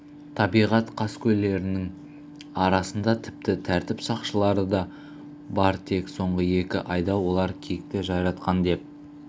табиғат қаскөйлерінің арасында тіпті тәртіп сақшылары да бар тек соңғы екі айда олар киікті жайратқан деп